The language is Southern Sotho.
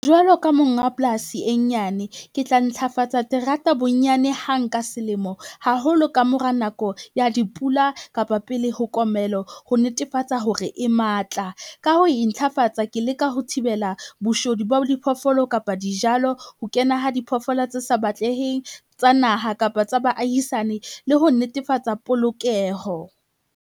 Jwalo ka monga polasi e nyane, ke tla ntlhafatsa terata bonyane hang ka selemo, haholo ka mora nako ya dipula kapa pele ho komelo ho netefatsa hore e matla. Ka ho entlhafatsa ke leka ho thibela boshodu ba diphoofolo kapa dijalo, ho kena ho diphoofolo tse sa batleheng tsa naha kapa tsa baahisane, le ho netefatsa polokeho.